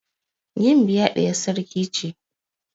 Gimbiya ɗiyar sarki ce.